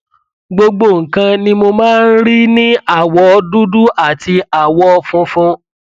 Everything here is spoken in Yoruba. gbogbo nǹkan ni mo máa ń rí ní àwọ dúdú àti àwọ funfun